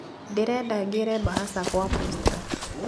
Ndĩrenda ngĩre mbahaca gwa posta